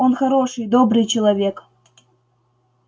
он хороший добрый человек